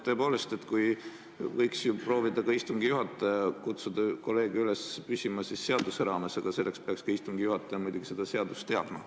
Tõepoolest võiks ju ka istungi juhataja proovida kutsuda kolleege üles püsima seaduse raames, aga selleks peaks istungi juhataja muidugi seda seadust teadma.